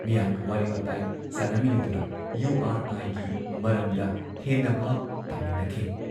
ꯃꯤꯌꯥꯝꯒ ꯋꯥꯔꯤ ꯋꯥꯇꯥꯏ ꯁꯥꯅꯃꯤꯟꯅꯗꯨꯅ ꯌꯨ ꯑꯥꯔ ꯑꯥꯏꯒꯤ ꯃꯔꯝꯗ ꯍꯦꯟꯅ ꯚꯥꯕ ꯇꯥꯃꯤꯟꯅꯈꯤ ꯫